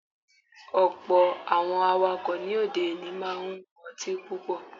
Ọ̀pọ̀ Àwọn awakọ̀ ní òde òní máa ń mú ọtín púpọ̀.